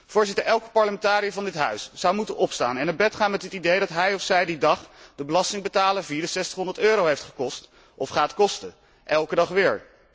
Voorzitter, elke parlementariër van dit huis zou moeten opstaan en naar bed gaan met het idee dat hij of zij die dag de belastingbetaler 6400 euro heeft gekost of gaat kosten, elke dag weer.